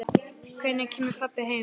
Hvenær kemur pabbi heim?